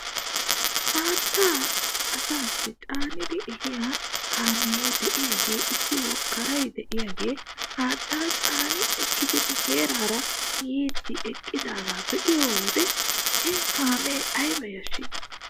Haattaa asaassi caanidi ehiyaa kaamee de'iyaagee issi woggaray de'iyaagee haattaa caani ekkidi nu heera yiidi eqqidaagaa be'iyoo wode he kaamee ayba yashshii